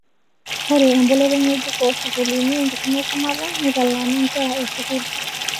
Ore emboloto ng'ejuk oo sukuulini enkisuma e shumata neitaalana nkera e sukuul